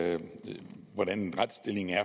tak